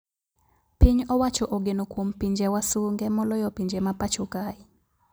Piny owacho ogeno kuom pinje wasunge moloyo pinje ma pacho kae